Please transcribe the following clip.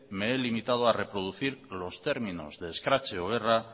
me he limitado a reproducir los términos de escrache o guerra